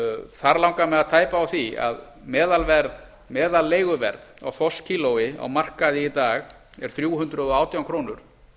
þar langar mig að tæpa á því að meðalleiguverð á þorskkílói á markaði í dag er þrjú hundruð og átján krónur